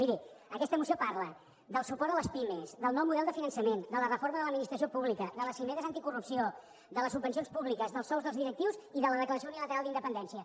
miri aquesta moció parla del suport a les pimes del nou model de finançament de la reforma de l’administració pública de les cimeres anticorrupció de les subvencions públiques dels sous dels directius i de la declaració unilateral d’independència